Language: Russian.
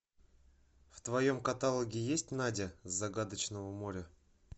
в твоем каталоге есть надя с загадочного моря